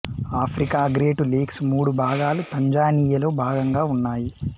Africa great lakes మూడు భాగాలు తన్జానియాలో భాగంగా ఉన్నాయి